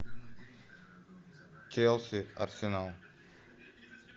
челси арсенал